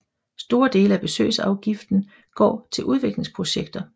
Store dele af besøgsafgiften går til udviklingsprojekter